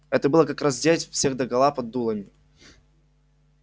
это было как раздеть всех догола под дулами